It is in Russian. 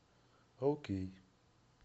окей